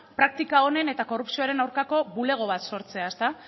praktika onen eta korrupzioaren aurkako bulego bat sortzea